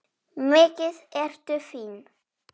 Mikið ertu fín!